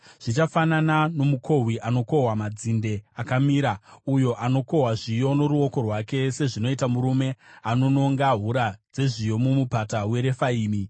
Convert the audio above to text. Zvichafanana nomukohwi anokohwa madzinde akamira, uyo anokohwa zviyo noruoko rwake, sezvinoita murume anononga hura dzezviyo muMupata weRefaimi.